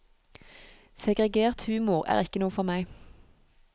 Segregert humor er ikke noe for meg.